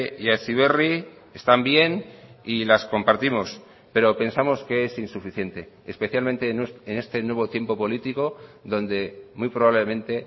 y a heziberri están bien y las compartimos pero pensamos que es insuficiente especialmente en este nuevo tiempo político donde muy probablemente